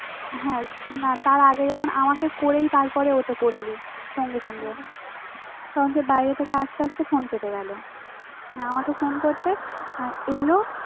হ্যাঁ না তার আগে যখন আমাতে করেই তারপর ওতে করলি সঙ্গে সঙ্গে তখন যে বাইরে থেকে আসতে আসতে ফোন কেটে গেল মানে আমাকে ফোন করতে এল